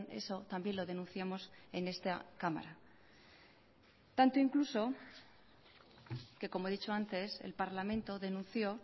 eso también lo denunciamos en esta cámara tanto incluso que como he dicho antes el parlamento denunció